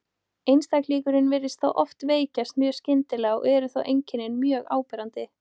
Einstaklingurinn virðist þá oft veikjast mjög skyndilega og eru þá einkennin mjög áberandi.